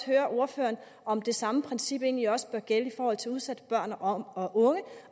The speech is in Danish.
høre ordføreren om det samme princip egentlig også bør gælde i forhold til udsatte børn og unge